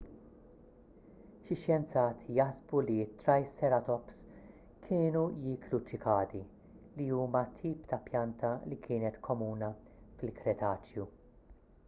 xi xjenzati jaħsbu li t-triceratops kienu jieklu ċikadi li huma tip ta' pjanta li kienet komuni fil-kretaċju